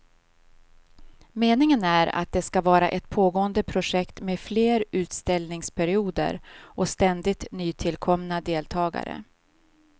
Meningen är att det ska vara ett pågående projekt med fler utställningsperioder och ständigt nytillkomna deltagare.